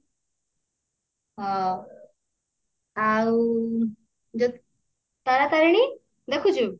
ହଁ ଆଉ ତାରାତାରେଣୀ ଦେଖୁଛୁ